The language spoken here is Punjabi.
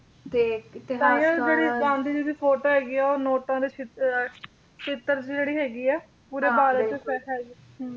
ਤੇ ਤਾਂਹੀਓਂ ਜਿਹੜੇ ਗਾਂਧੀ ਜੀ ਦੀ ਫੋਟੋ ਹੈਗੀ ਆ ਉਹ ਨੋਟਾਂ ਤੇ ਛਿਪ ਚਿੱਤਰ ਦੀ ਜਿਹੜੀ ਹੈਗੀ ਆ ਪੂਰੇ ਭਾਰਤ ਦੇ ਵਿੱਚ ਹੈਗੀ ਹੁੰ